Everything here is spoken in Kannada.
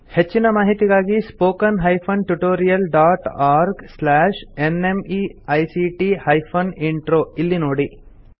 ಹೆಚ್ಚಿನ ಮಾಹಿತಿಗಾಗಿ spoken hyphen tutorial dot org slash NMEICT hyphen intro ಇಲ್ಲಿ ನೋಡಿ